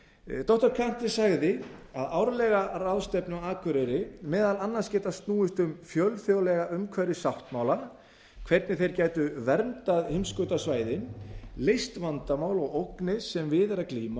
verða doktor kante sagði árlega ráðstefnu á akureyri meðal annars geta snúist um fjölþjóðlega umhverfissáttmála hvernig þeir gætu verndað heimskautasvæðin leyst vandamál og ógnir sem við er að